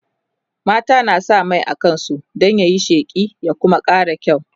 mata na sa Mai a kansu Dan yayi sheƙi ya Kuma ƙara kyau